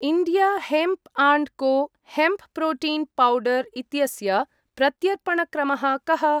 India hemp and co hemp protein powder इत्यस्य प्रत्यर्पणक्रमः कः?